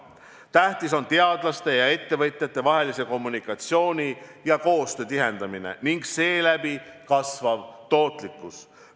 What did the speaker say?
Tähtis on teadlaste ja ettevõtjate vahelise kommunikatsiooni ja koostöö tihendamine ning seeläbi kasvav tootlikkus.